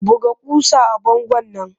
Buga ƙusa a bangon nan!